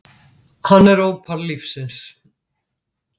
Hann er ópal lífsins.